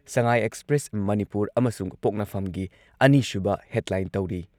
ꯁꯉꯥꯏ Express Manipur ꯑꯃꯁꯨꯡ ꯄꯣꯛꯅꯐꯝꯒꯤ ꯑꯅꯤꯁꯨꯕ ꯍꯦꯗꯂꯥꯏꯟ ꯇꯧꯔꯤ ꯫